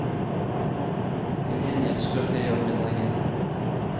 Til gjengjeld skrøt jeg av middagen.